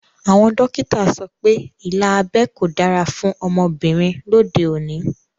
Àwọn dókítà so pé ilà abẹ́ kò dára fún ọmọbìnrin lóde òní